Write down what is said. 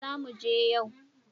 Zamu je yau